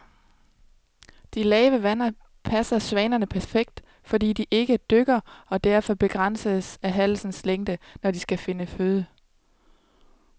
De lave vande passer svanerne perfekt, fordi de ikke dykker og derfor begrænses af halsens længde, når de skal finde føde.